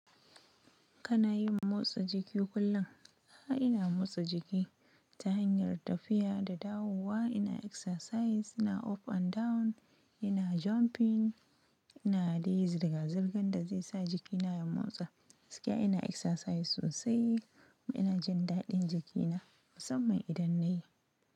Kana yin motsa jiki kullum? A'a, ina motsa jiki ta hanyar tafiya da dawowa. Ina exercise, ina up and down, ina jumping, ina dai zirgan da zai sa jikina ya motsa. Gaskiya ina exercise sosai kuma ina jin daɗin jikina musamman idan na yi.